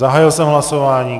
Zahájil jsem hlasování.